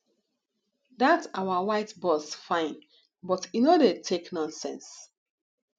dat our white boss fine but e no dey take nonsense